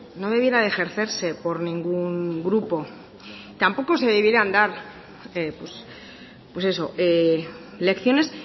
no debiera ejercerse por ningún grupo tampoco se debieran dar pues eso lecciones